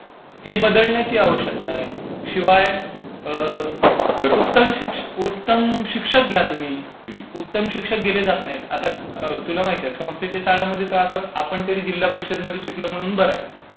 हे बदलण्याची आवश्यकता आहे. शिवाय उत्तम शिक्षक घ्या तुम्ही. उत्तम शिक्षक घेतले जात नाहीत. म्हणजे आता तुला माहिती आहे संस्थेच्या शाळांमध्ये आपण तरी जिल्हा परिषद आमध्ये शिकलो म्हणून बरं